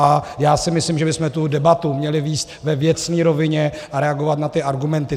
A já si myslím, že bychom tu debatu měli vést ve věcné rovině a reagovat na ty argumenty.